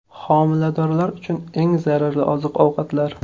Homiladorlar uchun eng zararli oziq-ovqatlar.